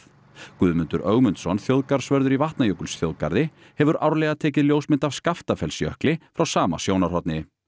Guðmundur Ögmundsson þjóðgarðsvörður í Vatnajökulsþjóðgarði hefur árlega tekið ljósmynd af frá sama sjónarhorni